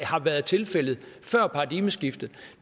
har været tilfældet før paradigmeskiftet